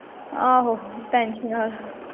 ਆਹੋ ਟੇਂਸ਼ਨ।